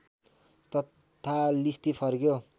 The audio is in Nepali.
तथा लिस्ती फर्क्यो